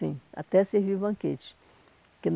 Sim, até servir banquetes porque.